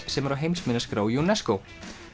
sem er á heimsminjaskrá UNESCO